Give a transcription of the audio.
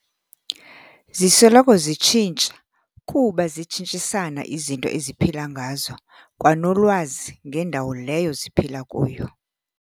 Zisoloko zitshintsha, kuba zitshintshanisa izinto eziphila ngazo, kwanolwazi ngendawo leyo ziphila kuyo.